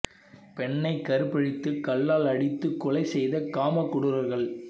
பெண்ணை கற்பழித்து கல்லால் அடித்துக் கொலை செய்த காம கொடூரர்கள்